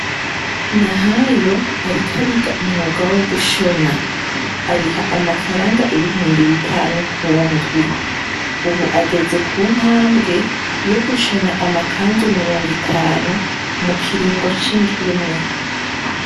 Nahayo ariko ariga umwuga wo gushona. Ariha amafaranga ibihumbi bitanu ku ndwi . Ubu ageze ku ntambwe yo gushona amakanzu mirongo itanu mu kiringo c'indwi imwe.